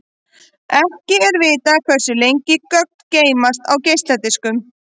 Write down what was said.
Ekki er vitað hversu lengi gögn geymast á geisladiskum.